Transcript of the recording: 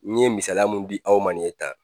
N ye misaliya min di aw ma ni ye tan